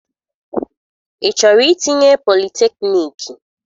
Ị chọrọ itinye politekniiki?